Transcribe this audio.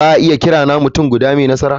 Za a iya kiran ni mutum guda mai nasara?